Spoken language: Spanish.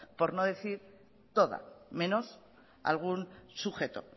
por no decir toda menos algún sujeto